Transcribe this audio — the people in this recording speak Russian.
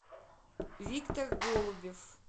виктор голубев